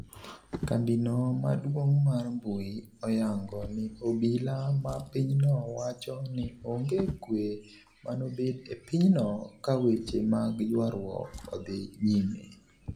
kambino maduong' mar mbui oyango ni obila ma pinyno wacho ni onge kwe manobed e pinyno ka weche mag ywarwuok odhi nyime.